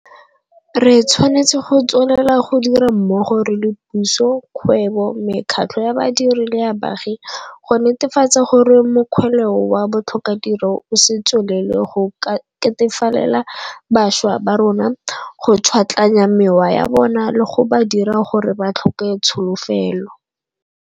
Re tshwanetse go tswelela go dira mmogo re le puso, kgwebo, mekgatlho ya badiri le ya baagi go netefatsa gore mokgweleo wa botlhokatiro o se tswelele go ketefalela bašwa ba rona, go tšhwatlaganya mewa ya bona le go ba dira gore ba tlhoke tsolofelo.